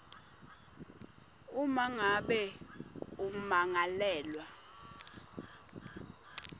uma ngabe ummangalelwa